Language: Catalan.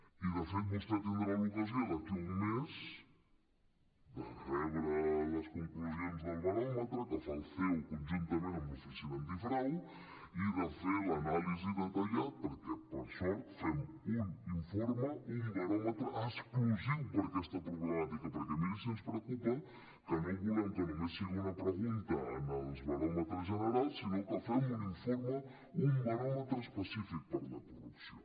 i de fet vostè tindrà l’ocasió d’aquí a un mes de rebre les conclusions del baròmetre que fa el ceo conjuntament amb l’oficina antifrau i de fer l’anàlisi detallada perquè per sort fem un informe un baròmetre exclusiu per aquesta problemàtica perquè miri si ens preocupa que no volem que només sigui una pregunta en els baròmetres generals sinó que fem un informe un baròmetre específic per la corrupció